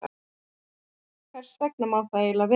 Hvers vegna má það eiginlega vera?